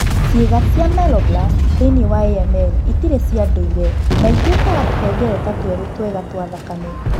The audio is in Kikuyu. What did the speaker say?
Ciĩga cia myeloblasts thĩĩni wa AML itirĩ cia ndũire na itĩtuĩkaga tũhengereta tũerũ twega twa thakame.